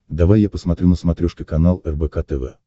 давай я посмотрю на смотрешке канал рбк тв